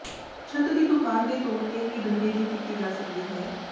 ਛੱਤ ਦੀ ਦੁਕਾਨ ਦੇ ਤੌਰ ਤੇ ਹੀ ਡੰਡੇ ਦੀ ਕੀਤੀ ਜਾ ਸਕਦੀ ਹੈ